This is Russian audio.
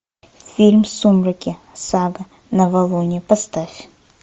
фильм сумерки сага новолуние поставь